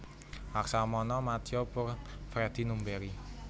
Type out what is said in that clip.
Laksamana Madya Purn Freddy Numberi